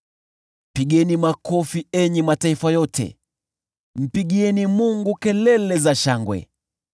Pigeni makofi, enyi mataifa yote, mpigieni Mungu kelele za shangwe!